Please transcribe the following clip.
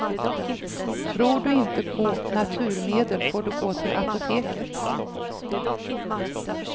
Tror du inte på naturmedel får du gå till apoteket.